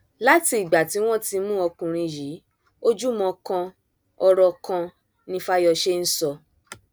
láti ìgbà tí wọn ti mú ọkùnrin yìí ojúmọ kan ọrọ kan ni fáyọṣe ń sọ